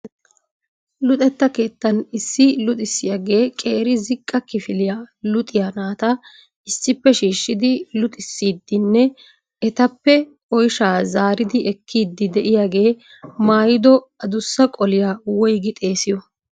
luxetta keettan issi luxissiyaagee qeeri ziqqa kifiliyaa luxiyaa naata issippe shiishshidi luxissidinne etappe oyshsha zaaridi ekkiide de'iyaagee maayyidi addussa qaaliyaa woyggi xeessiyo?